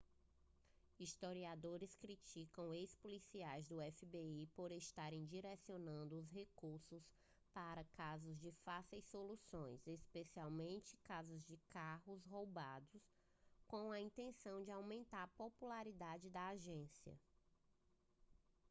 historiadores criticaram ex-policiais do fbi por estarem direcionando os recursos para casos de fácil solução especialmente casos de carros roubados com a intenção de aumentar a popularidade da agência